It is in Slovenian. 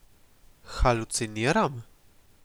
Haluciniram?